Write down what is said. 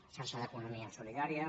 xarxa d’economia solidària